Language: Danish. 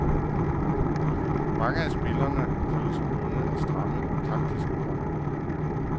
Mange af spillerne føler sig bundet af stramme taktiske bånd.